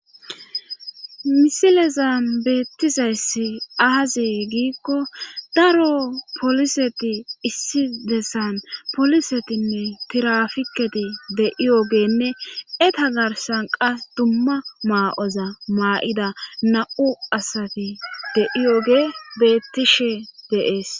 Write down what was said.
misilezan beettizayssi aazi giikko daro poliseti issi dessan polisetinne tirafiketi de7iyogenne eta garsan qas dumma maa7oza maa7ida na7u asati de7iyoge beettishe deees